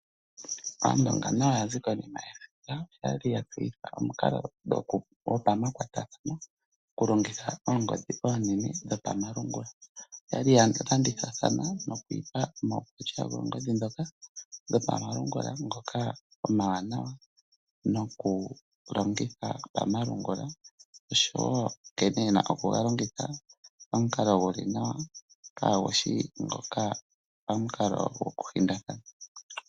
Aandonga nayo ya zi konima yesiga. Oya tseyitha omukalogopamakwatathano okulongitha oongodhi oonene dhopamalungula. Oya landithathana noku ipa mo omaukwatya goongodhi ndhoka dhopamalungula ngoka omawanawa nokulongitha pamalungula noshowo nkene ye na okuga longitha pamukalo gu li nawa kaagu shi ngoka pamukalo gokuhindathana.